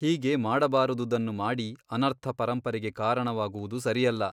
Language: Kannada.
ಹೀಗೆ ಮಾಡಬಾರದುದನ್ನು ಮಾಡಿ ಅನರ್ಥಪರಂಪರೆಗೆ ಕಾರಣವಾಗುವುದು ಸರಿಯಲ್ಲ.